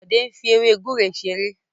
Bode n fí ewe gúre ṣeré.